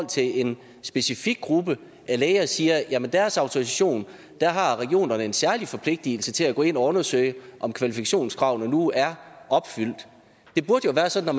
til en specifik gruppe af læger siger at hvad angår deres autorisation har regionerne en særlig forpligtelse til at gå ind og undersøge om kvalifikationskravene nu er opfyldt det burde jo være sådan at